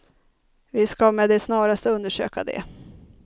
Vi ska med det snaraste undersöka det.